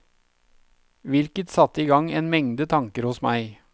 Hvilket satte igang en mengde tanker hos meg.